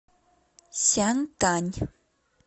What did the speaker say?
сянтань